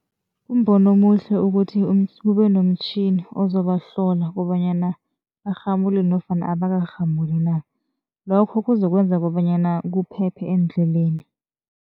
Kumbono omuhle ukuthi kube lomtjhini ozobahlola kobanyana barhamulile nofana abakarhamuli na, lokho kuzokwenza kobanyana kuphephe eendleleni.